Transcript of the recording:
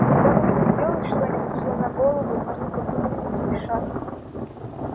когда нужно сделать что-нибудь сломя голову они как будто не спешат